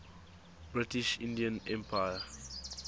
british indian empire